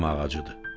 Badam ağacıdır.